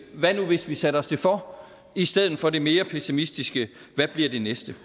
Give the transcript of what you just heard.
hvad nu hvis vi satte os det for i stedet for det mere pessimistiske hvad bliver det næste